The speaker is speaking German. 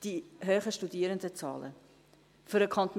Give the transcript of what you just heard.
Die hohen Studierendenzahlen: Für den Kanton